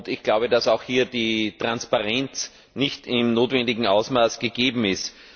Ich glaube, dass auch hier die Transparenz nicht im notwendigen Ausmaß gegeben ist.